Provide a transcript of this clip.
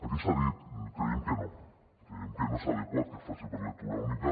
el que s’ha dit creiem que no creiem que no és adequat que es faci per lectura única